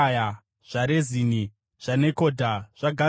zvaRezini, zvaNekodha, zvaGazami,